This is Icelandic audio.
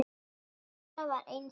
Dóra var einstök kona.